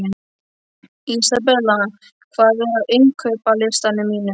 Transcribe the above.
Isabella, hvað er á innkaupalistanum mínum?